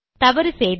தவறு செய்தேன்